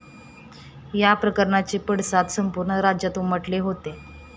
या प्रकरणाचे पडसाद संपूर्ण राज्यात उमटले होते.